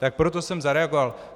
Tak proto jsem zareagoval.